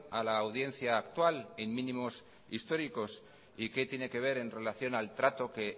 a la audiencia actual en mínimos históricos y qué tiene que ver en relación al trato que